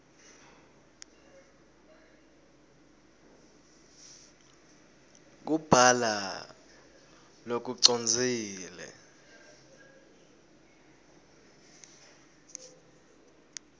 kubhala lokucondzile